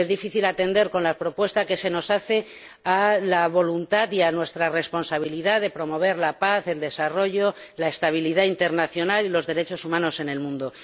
Es difícil atender con la propuesta que se nos hace a la voluntad y a nuestra responsabilidad de promover la paz, el desarrollo, la estabilidad internacional y los derechos humanos en el mundo.